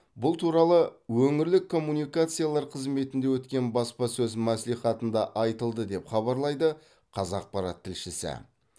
бұл туралы өңірлік коммуникациялар қызметінде өткен баспасөз мәслихатында айтылды деп хабарлайды қазақпарат тілшісі